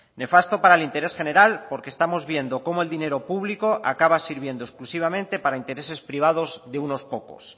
nefasto para el interés general porque estamos viendo como el dinero público acaba sirviendo exclusivamente para intereses privados de unos pocos